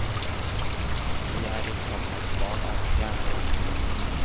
Vi er i sannhet barn av stjernene.